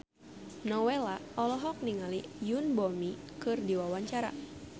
Nowela olohok ningali Yoon Bomi keur diwawancara